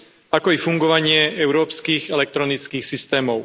ako i fungovanie európskych elektronických systémov.